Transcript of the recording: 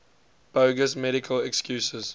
bogus medical excuses